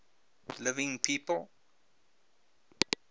living people